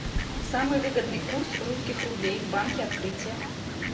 самый выгодный курс русских рублей в банке открытие